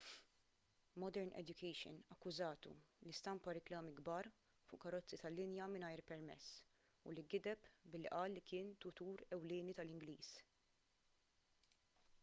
modern education akkużatu li stampa riklami kbar fuq karozzi tal-linja mingħajr permess u li gideb billi qal li kien tutur ewlieni tal-ingliż